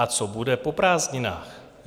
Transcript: A co bude po prázdninách?